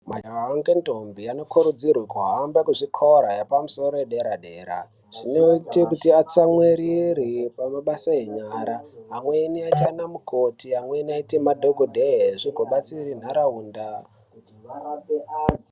Majaha ngendombi anokurudzirwa kuhamba kuzvikora zvepadera dera zvinoita kuti atsamwirire pamabasa enyara ,amweni aite ana mukoti, amweni aite madhokodheya zvizobatsira nharaunda kurapa anthu.